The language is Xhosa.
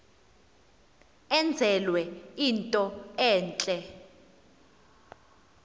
enzelwe into entle